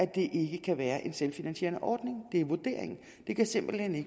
det ikke kan være en selvfinansierende ordning det er vurderingen det kan simpelt hen